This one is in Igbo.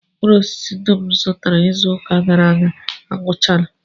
Mkpụrụosisi dum m zụtara izuụka gara aga agwụchaala